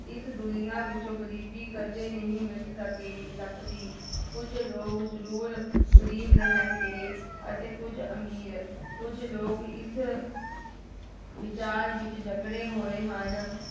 ਇਸ ਦੁਨੀਆਂ ਵਿੱਚੋਂ ਗ਼ਰੀਬੀ ਕਦੇ ਨਹੀਂ ਮਿਟ ਸਕੇਗੀ, ਸਕਦੀ ਕੁੱਝ ਲੋਕ ਜ਼ਰੂਰ ਗ਼ਰੀਬ ਰਹਿਣਗੇ ਅਤੇ ਕੁੱਝ ਅਮੀਰ, ਕੁੱਝ ਲੋਕ ਇਸ ਵਿਚਾਰ ਵਿੱਚ ਜਕੜੇ ਹੋਏ ਹਨ